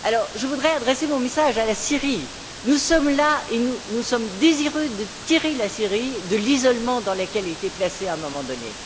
Je voudrais donc adresser mon message à la Syrie nous sommes là et nous sommes désireux de tirer la Syrie de l'isolement dans lequel elle a été placée à un moment donné.